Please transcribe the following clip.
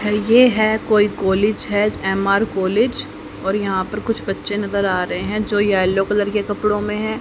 ये है कोई कॉलेज है एम_आर कॉलेज और यहां पर कुछ बच्चे नजर आ रहे हैं जो येलो कलर के कपड़ों में है।